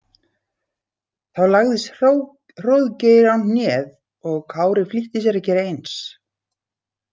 Þá lagðist Hróðgeir á hnéð og Kári flýtti sér að gera eins.